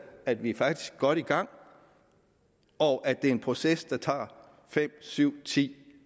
at vi faktisk er godt i gang og at det er en proces der tager fem syv ti